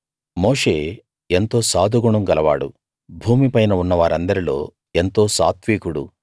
మోషే ఎంతో సాధుగుణం గలవాడు భూమిపైన ఉన్నవారందరిలో ఎంతో సాత్వికుడు